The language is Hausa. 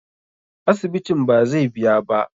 Asibitin bazai biya ba.